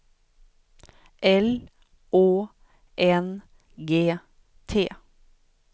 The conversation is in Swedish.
L Å N G T